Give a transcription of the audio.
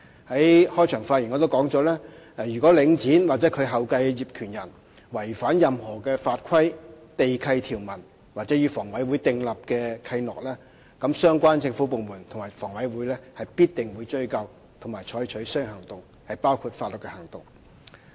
我在開場發言時亦指出，如果領展或其後繼的業權人違反任何法規、地契條文或與房委會訂立的契諾，相關政府部門及房委會必定會追究及採取相應行動，包括法律行動。